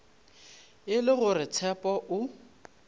e le gore tshepo o